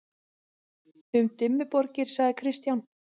Um Dimmuborgir segir Kristján: